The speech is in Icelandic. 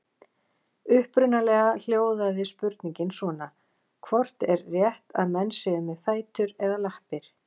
Upprunalega hljóðaði spurningin svona: Hvort er rétt, að menn séu með fætur eða lappir?